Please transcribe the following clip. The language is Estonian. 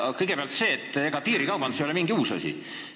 Kõigepealt, et ega piirikaubandus ei ole mingi uus asi.